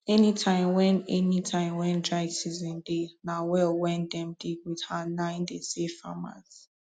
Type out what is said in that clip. any tim wen any tim wen dry season dey na well wen dem dig wit hand nai dey save farmers